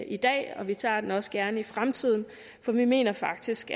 i dag og vi tager den også gerne i fremtiden for vi mener faktisk